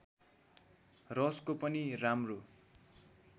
रसको पनि राम्रो